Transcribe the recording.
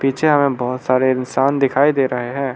पीछे हमें बहुत सारे इंसान दिखाई दे रहे हैं।